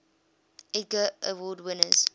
edgar award winners